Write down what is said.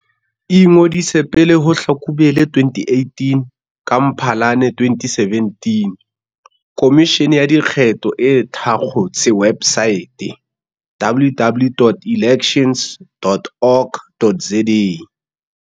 Ingodise pele ho Hlakubele 2018 Ka Mphalane 2017, Khomishene ya Dikgetho e thakgotse websaete, www.elections.org.za.